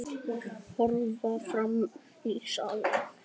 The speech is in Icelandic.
Horfir fram í salinn.